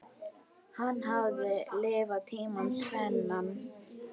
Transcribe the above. Hann hafði lifað tímana tvenna.